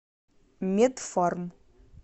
медфарм